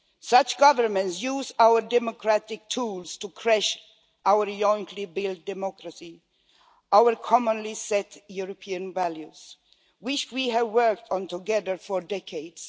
Such governments use our democratic tools to crash our jointly built democracy, our commonly set European values, which we have worked on together for decades.